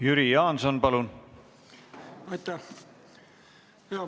Jüri Jaanson, palun!